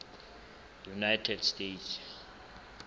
united states